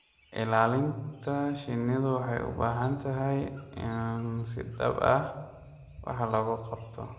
Ilaalinta shinnidu waxay u baahan tahay in si dhab ah wax looga qabto.